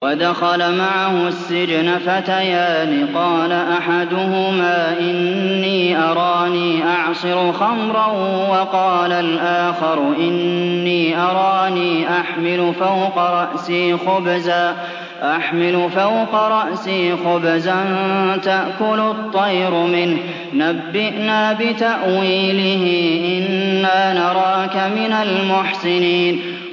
وَدَخَلَ مَعَهُ السِّجْنَ فَتَيَانِ ۖ قَالَ أَحَدُهُمَا إِنِّي أَرَانِي أَعْصِرُ خَمْرًا ۖ وَقَالَ الْآخَرُ إِنِّي أَرَانِي أَحْمِلُ فَوْقَ رَأْسِي خُبْزًا تَأْكُلُ الطَّيْرُ مِنْهُ ۖ نَبِّئْنَا بِتَأْوِيلِهِ ۖ إِنَّا نَرَاكَ مِنَ الْمُحْسِنِينَ